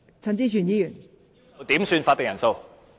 代理主席，我要求點算法定人數。